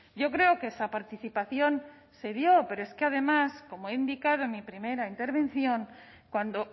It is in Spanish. yo creo que esa participación se dio pero es que además como he indicado en mi primera intervención cuando